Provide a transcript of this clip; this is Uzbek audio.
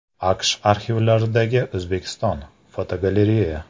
AQSh arxivlaridagi O‘zbekiston (fotogalereya).